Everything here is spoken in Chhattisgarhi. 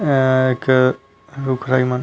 अ एक रुखराई मन--